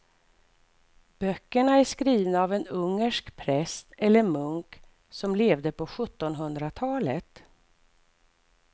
Böckerna är skrivna av en ungersk präst eller munk som levde på sjuttonhundratalet.